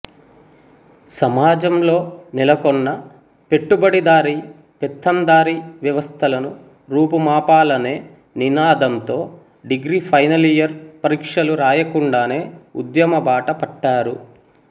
సమాజంలో నెలకొన్న పెట్టుబడిదారి పెత్తందారి వ్యవస్థలను రూపుమాపాలనే నినాదంతో డిగ్రీ ఫైనలియర్ పరీక్షలు రాయకుండానే ఉద్యమబాట పట్టారు